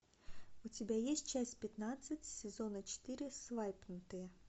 у тебя есть часть пятнадцать сезона четыре свайпнутые